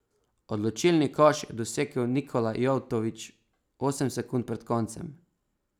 Odločilni koš je dosegel Nikola Jevtović osem sekund pred koncem.